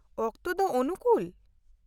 ᱚᱠᱛᱮ ᱫᱚ ᱚᱱᱩᱠᱩᱞ ?